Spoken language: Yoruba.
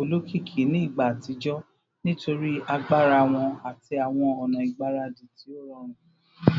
olokiki ni igba atijọ nitori agbara wọn ati awọn ọna igbaradi ti o rọrun